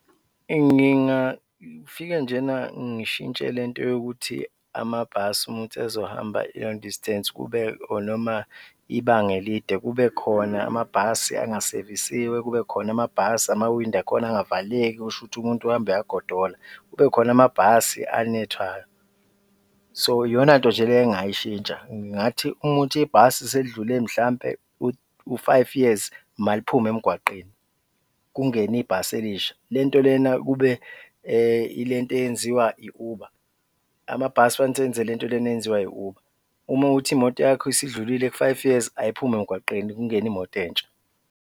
Ngingafika njena ngishintshe le nto yokuthi amabhasi uma kuwukuthi azohamba i-long distance kube or noma ibanga elide kube khona amabhasi angasevisiwe, kubekhona amabhasi amawindi akhona angavaleki, kusho ukuthi umuntu uhamba uyagodola, kubekhona amabhasi anethwayo, so iyonanto nje le engingayishintsha. Ngingathi uma kuwukuthi ibhasi selidlule mhlawumbe u-five years, maliphume emgwaqeni kungene ibhasi elisha, le nto lena kube ile nto eyenziwa i-Uber, amabhasi kufanele ukuthi le nto lena eyenziwa i-Uber, uma kuwukuthi imoto yakho isidlulile ku-five years, ayiphume emgwaqeni kungene imoto entsha.